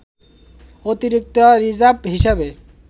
অতিরিক্ত রিজার্ভ হিসেবে